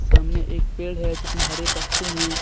सामने एक पेड़ है जिसमें हरे पत्ते हैं।